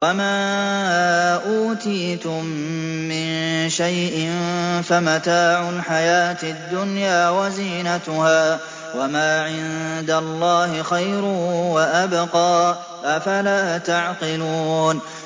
وَمَا أُوتِيتُم مِّن شَيْءٍ فَمَتَاعُ الْحَيَاةِ الدُّنْيَا وَزِينَتُهَا ۚ وَمَا عِندَ اللَّهِ خَيْرٌ وَأَبْقَىٰ ۚ أَفَلَا تَعْقِلُونَ